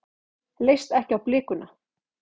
Leist ekki á blikuna.